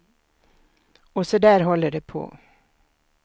Och så där håller det på.